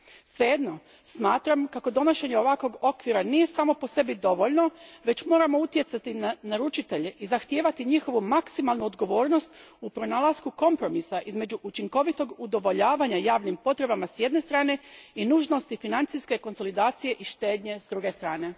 Svejedno, smatram kako donošenje ovakvog okvira nije samo po sebi dovoljno, već moramo utjecati na naručitelje i zahtijevati njihovu maksimalnu odgovornost u pronalasku kompromisa između učinkovitog udovoljavanja javnim potrebama s jedne strane i nužnosti financijske konsolidacije i štednje s druge strane.